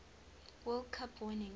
world cup winning